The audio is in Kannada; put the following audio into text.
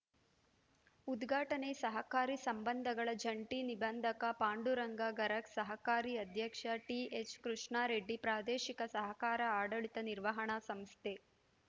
ಉದ್ಘಾಟನೆ ಸಹಕಾರಿ ಸಂಬಂಧಗಳ ಜಂಟಿ ನಿಬಂಧಕ ಪಾಂಡುರಂಗ ಗರಗ್‌ ಸಹಕಾರಿ ಅಧ್ಯಕ್ಷ ಟಿಎಚ್‌ಕೃಷ್ಣಾರೆಡ್ಡಿ ಪ್ರಾದೇಶಿಕ ಸಹಕಾರ ಆಡಳಿತ ನಿರ್ವಹಣಾ ಸಂಸ್ಥೆ